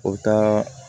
O taa